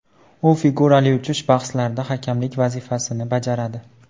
U figurali uchish bahslarida hakamlik vazifasini bajaradi.